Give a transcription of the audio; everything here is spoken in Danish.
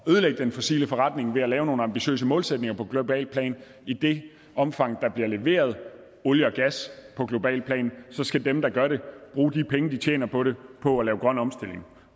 den fossile forretning ved at lave nogle ambitiøse målsætninger på globalt plan i det omfang der bliver leveret olie og gas på globalt plan så skal dem der gør det bruge de penge de tjener på det på at lave grøn omstilling